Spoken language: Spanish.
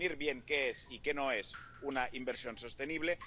definir bien qué es y qué no es una inversión sostenible